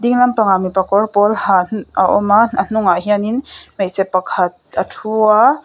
pang ah mipa kawr pawl ha a awm a a hnung ah hianin hmeichhe pakhat a ṭhu a.